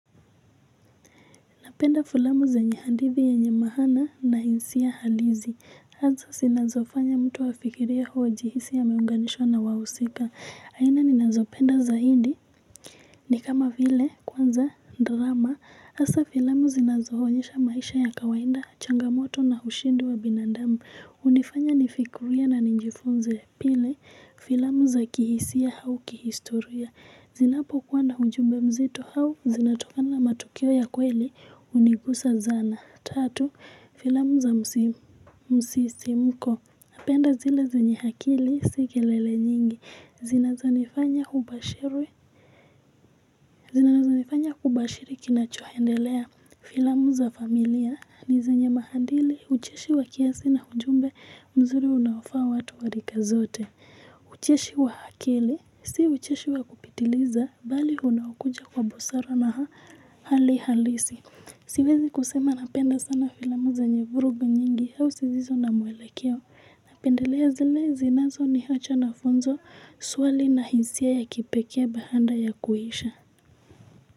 Napenda filamu zenye hadithi ya nyama hana na jinsia halisi. Hizo zinazofanya mtu afikiriae au ajihisi ameunganishwa na wahusika. Aina ninazopenda za hindi ni kama vile kwanza drama. Haswa filamu zinazoonyesha maisha ya kawainda, changa moto na ushindi wa binandamu. Hunifanya nifikirie na nijifunze pili filamu za kihisia au kihistoria. Zinapokuwa na ujumbe mzito au zinatokana matukio ya kweli hunigusa sana tatu filamu za msisimko napenda zile zenye akili sio kelele nyingi zinazonelifanya kubashiri kinachoendelea filamu za familia ni zenye maadili ucheshi wa kiasi na ujumbe mzuri unaofaa watu wa rika zote. Ucheshi wa akili si ucheshi wa kupitiliza bali unaokuja kwa busara na hali halisi siwezi kusema napenda sana filamu zenye vurugu nyingi au zisizo na mwelekeo, napenda zinazoniwacha na funzo shwari na hisia ya kipekee baada ya kuisha.